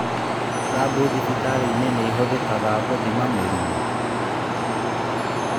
Rambu thibitarĩ-inĩ ihũthĩkaga gũthima mĩrimũ